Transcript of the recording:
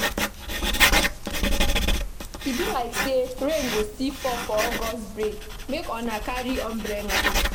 E be like sey rain go still fall for August break make una carry umbrella.